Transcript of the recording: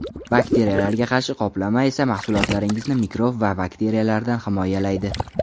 Bakteriyalarga qarshi qoplama esa mahsulotlaringizni mikrob va bakteriyalardan himoyalaydi.